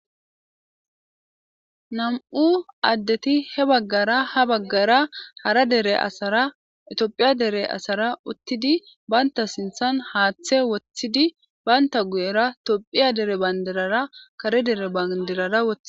Nam'u addeti he baggara ha baggara hara dere asara itiophiya dere asara uttidi baynta sinthan haaththe woththidi baynta guyera toopphiya dere bandirara kare dere bandirara wothi.